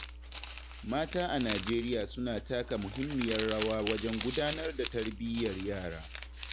Mata a Najeriya suna taka muhimmiyar rawa wajen gudanar da tarbiyyar yara.